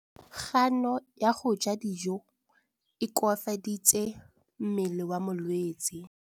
Kganô ya go ja dijo e koafaditse mmele wa molwetse.